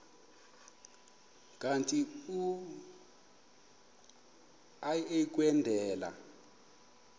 kanti uia kwendela